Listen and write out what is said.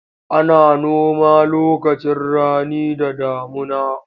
Ana noma lokacin rani da damuna.